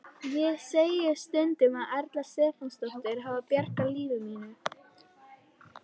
Ég segi stundum að Erla Stefánsdóttir hafi bjargað lífi mínu.